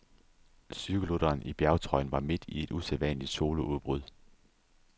Cykelrytteren i bjergtrøjen var midt i et usædvanligt soloudbrud.